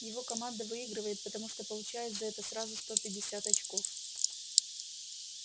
его команда выигрывает потому что получает за это сразу сто пятьдесят очков